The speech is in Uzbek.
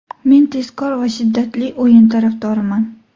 Men tezkor va shiddatli o‘yin tarafdoriman.